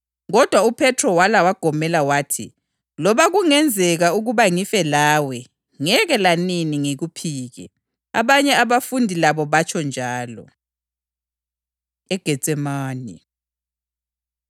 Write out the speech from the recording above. UJesu waphendula wathi, “Ngikutshela iqiniso ukuthi ngabona lobubusuku, iqhude lingakakhali uzangiphika kathathu.”